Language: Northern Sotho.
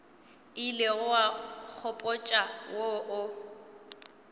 ilego wa nkgopotša wo o